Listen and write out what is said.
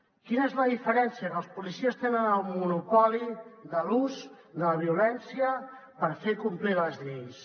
quina és la diferència que els policies tenen el monopoli de l’ús de la violència per fer complir les lleis